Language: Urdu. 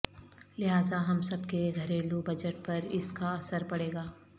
لہذا ہم سب کے گھریلو بجٹ پر اس کا اثر پڑے گا